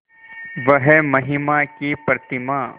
वह महिमा की प्रतिमा